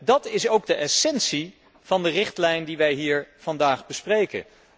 Dat is ook de essentie van de richtlijn die wij hier vandaag bespreken.